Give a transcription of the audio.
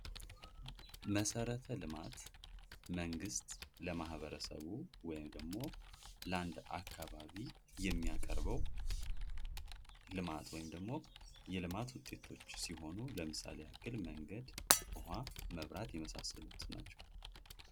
የገጠር መንገዶች: የገጠር አካባቢዎችን ከከተሞች ጋር በማገናኘት የኢኮኖሚና ማህበራዊ እድገትን ያፋጥናሉ።